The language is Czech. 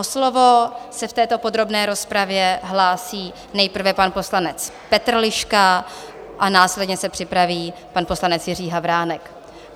O slovo se v této podrobné rozpravě hlásí nejprve pan poslanec Petr Liška a následně se připraví pan poslanec Jiří Havránek.